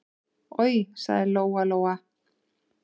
Oj, sagði Lóa-Lóa.